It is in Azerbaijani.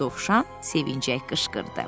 Dovşan sevinərək qışqırdı.